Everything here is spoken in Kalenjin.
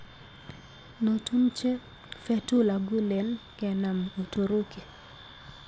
Notumche Fetullah Gulen kenam Uturuki.